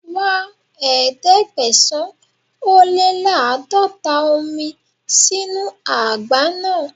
Wá Ẹ̀ẹ́dẹ̀gbẹ̀sán-ó-lé-láàdọ́ta omi sínu àgbá náà.